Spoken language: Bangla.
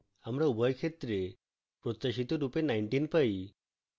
আমরা উভয় ক্ষেত্রে প্রত্যাশিত রূপে 19 পাই